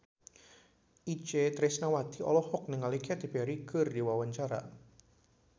Itje Tresnawati olohok ningali Katy Perry keur diwawancara